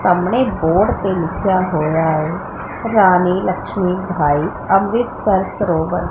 ਸਾਹਮਣੇ ਬੋਰਡ ਤੇ ਲਿਖਿਆ ਹੋਇਆ ਹੈ ਰਾਣੀ ਲਕਸ਼ਮੀ ਬਾਈ ਅੰਮ੍ਰਿਤਸਰ ਸਰੋਵਰ।